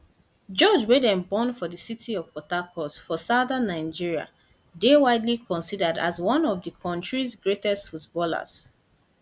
george wey dem born for di city of port harcourt for southern nigeria dey widely considered as one of di kontri greatest footballers